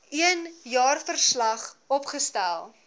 een jaarverslag opgestel